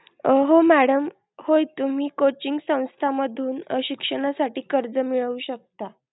हो madam होय तुम्ही coaching संस्था मधून शिक्षणासाठी कर्ज मिळवू शकता.